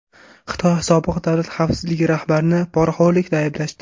Xitoy sobiq davlat xavfsizligi rahbarini poraxo‘rlikda ayblashdi.